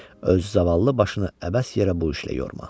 Öz zavallı başını əbəs yerə bu işlə yorma.